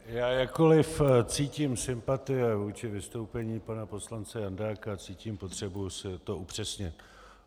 Já jakkoli cítím sympatie vůči vystoupení pana poslance Jandáka, cítím potřebu si to upřesnit.